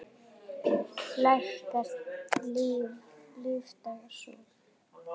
Lækkar lífdaga sól.